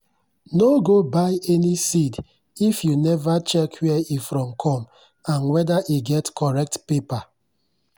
no go buy any seed if you never check where e from come and whether e get correct paper.